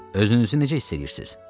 Özünüzü necə hiss eləyirsiz?